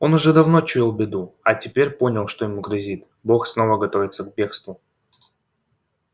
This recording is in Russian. он уже давно чуял беду а теперь понял что ему грозит бог снова готовится к бегству